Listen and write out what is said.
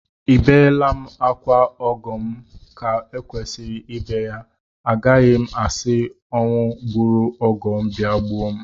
Ebeela m akwa ọgọ m ka e kwesịrị ibe ya, agaghị m asị ọnwụ gburu ọgọ m bịa gbuo m